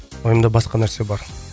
ойымда басқа нәрсе бар